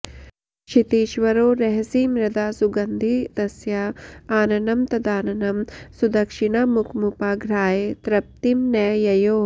क्षितीश्वरो रहसि मृदा सुगन्धि तस्या आननं तदाननं सुदक्षिणामुखमुपाघ्राय तृप्तिं न ययौ